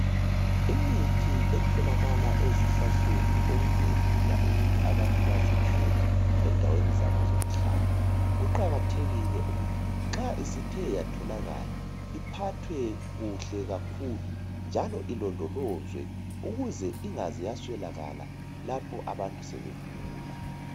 Imithi etholakala ezihlahleni okungelula ukuthi abantu bazithole endaweni zabo zokuhlala, kuqakathekile ukuthi nxa isithe yatholakala iphathwe kuhle kakhulu njalo ilondolozwe ukuze ingaze yaswelakala lapho abantu sebegula.